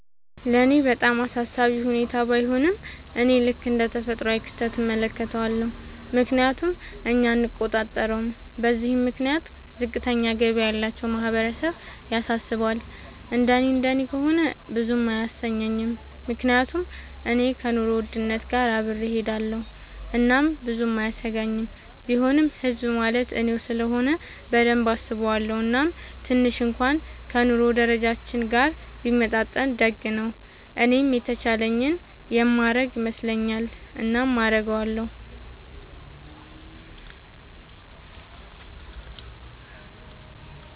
ለኔ በጣም አሳሳቢ ሁኔታ ባይሆንም፤ እኔ ልክ እንደ ተፈጥሯዊ ክስተት እመለከተዋለሁ፤ ምክንያቱም እኛ አንቆጣጠረውም። በዚህም ምክንያት ዝቅተኛ ገቢ ያላቸው ማህበረሰብ ያሳስባል፤ እንደኔ እንደኔ ከሆነ ብዙም አያሰኘኝም፤ ምክንያቱም እኔ ከኑሮ ውድነት ጋር አብሬ እሆዳለኹ እናም ብዙም አያሰጋኝም፤ ቢሆንም ህዝብ ማለት እኔው ስለሆነ በደንብ አስበዋለው፤ እናም ትንሽ እንኩዋን ከ ኑሮ ደረጃችን ጋር ቢመጣጠን ደግ ነው። እኔም የተቻለኝን የማረግ ይመስለኛል። እናም አረጋለው።